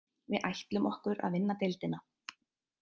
Við ætlum okkur að vinna deildina.